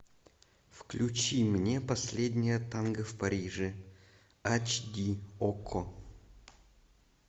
включи мне последнее танго в париже ач ди окко